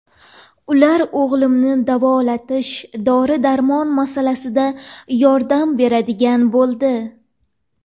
Ular o‘g‘limni davolatish, dori-darmon masalasida yordam beradigan bo‘ldi”.